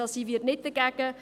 Da sind wir nicht dagegen.